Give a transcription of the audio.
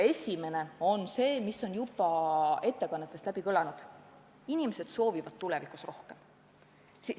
Esimene on see, mis on juba ettekannetes kõlanud: inimesed soovivad tulevikus rohkem.